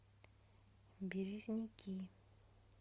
березники